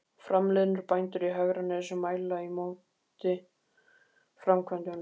Framliðnir bændur í Hegranesi mæli á móti framkvæmdunum.